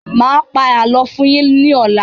Mà á pa àlọ́ fún yín ní ọ̀la.